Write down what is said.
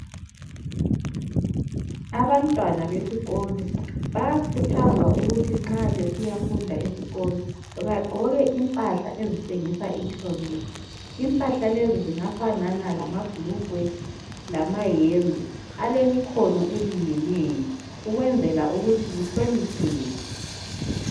Abantwana besikolo bayakhuthazwa ukuthi nxa besiyafunda esikolo bagqoke impahla ezitshengisa inhlonipho. Impahla lezi zingafana lamabhulugwe lamayembe alemikhono elingeneyo ukwenzela ukuthi kuhlonipheke.